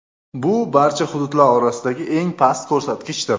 Bu barcha hududlar orasidagi eng past ko‘rsatkichdir.